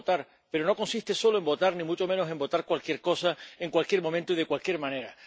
exige votar, pero no consiste solo en votar, ni mucho menos en votar cualquier cosa, en cualquier momento y de cualquier manera.